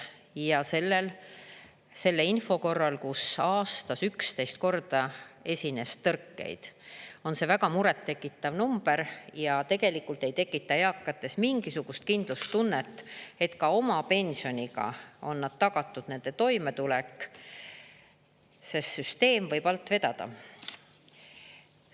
Ja selle info korral, kus aastas 11 korda esines tõrkeid, on see väga muret tekitav number ja tegelikult ei tekita eakates mingisugust kindlustunnet, et ka oma pensioniga on tagatud nende toimetulek, sest süsteem võib alt vedada.